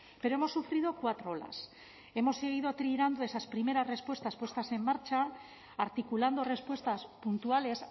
pero hemos sufrido cuatro olas hemos seguido tirando de esas primeras respuestas puestas en marcha articulando respuestas puntuales